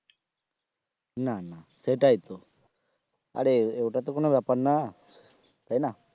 না না সেটাই তো আরে ওটা তো কোন ব্যাপার না তাই না